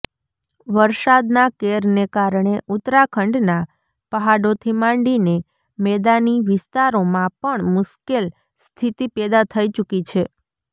વરસાદના કેરને કારણે ઉત્તરાખંડના પહાડોથી માંડીને મેદાની વિસ્તારોમાં પણ મુશ્કેલ સ્થિતિ પેદા થઈ ચુકી છે